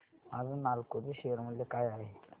आज नालको चे शेअर मूल्य काय आहे